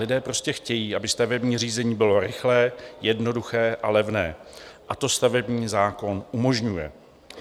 Lidé prostě chtějí, aby stavební řízení bylo rychlé, jednoduché a levné, a to stavební zákon umožňuje.